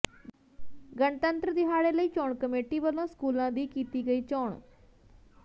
ਗਣਤੰਤਰ ਦਿਹਾੜੇ ਲਈ ਚੋਣ ਕਮੇਟੀ ਵੱਲੋਂ ਸਕੂਲਾਂ ਦੀ ਕੀਤੀ ਗਈ ਚੋਣ